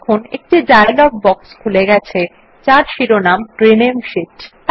দেখুন একটি dialog box খুলে গেছে যার শিরোনাম রিনেম শীট